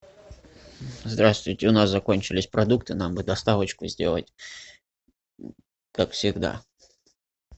здравствуйте у нас закончились продукты нам бы доставочку сделать как всегда